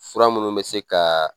Fura minnu bɛ se ka